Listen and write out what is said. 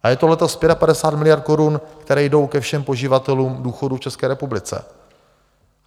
A je to letos 55 miliard korun, které jdou ke všem poživatelům důchodů v České republice.